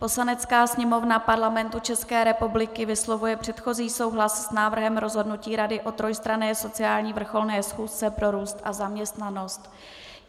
"Poslanecká sněmovna Parlamentu České republiky vyslovuje předchozí souhlas s návrhem rozhodnutí Rady o trojstranné sociální vrcholné schůzce pro růst a zaměstnanost."